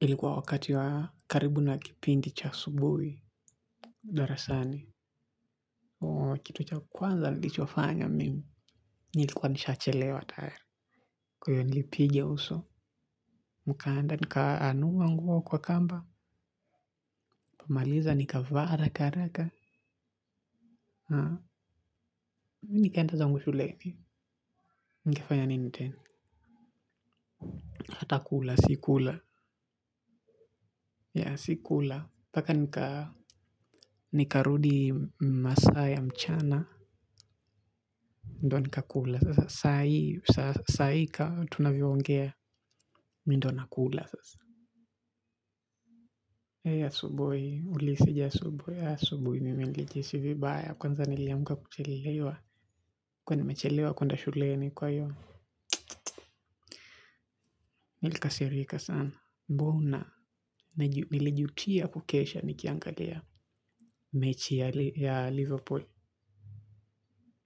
Ilikuwa wakati wa karibu na kipindi cha asubuhi. Darasani. Kitu cha kwanza nilichofanya mimi. Nilikuwa nishachelewa tayari. Kwa hio nilipiga uso. Mkanda nika anuwa nguo kwa kamba. Kumaliza nikavaa haraka haraka. Na mi nikaenda zangu shuleni. Nikafanya nini teni. Hatakula, sikula, yaa sikula. Paka nika, nikarudi masaa ya mchana, ndo nikakula, sasa sahii sahii ka tunavyo ongea, mindo nakula sasa. Eeh asubuhi, uliseja asubuhi, ya asubuhi, mimi nilijisi vibaya, kwanza niliamka kuchelewa. Kuwa nimechelewa kwenda shuleni kwa hio. Nilikasirika sana, mbona nilijutia kukesha nikiangalia mechi ya Liverpool.